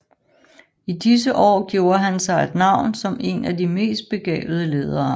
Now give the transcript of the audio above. I disse år gjorde han sig et navn som en af de mest begavede ledere